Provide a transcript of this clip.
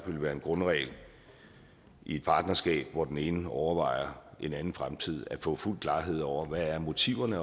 vil være en grundregel i et partnerskab hvor den ene overvejer en anden fremtid at få fuld klarhed over hvad motiverne